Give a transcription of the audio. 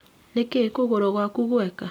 Nĩkiĩ kũgũrũ gwaku gweka